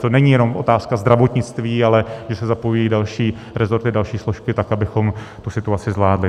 To není jenom otázka zdravotnictví, ale kdy se zapojují další resorty, další složky tak, abychom tu situaci zvládli.